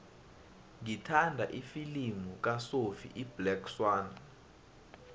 ngithanda ifilimu kasophie iblack swann